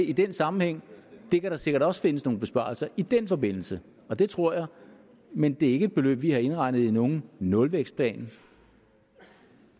i den sammenhæng at der sikkert også kan findes nogle besparelser i den forbindelse det tror jeg men det er ikke et beløb vi har indregnet i nogen nulvækstplan